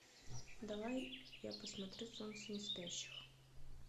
давай я посмотрю солнце неспящих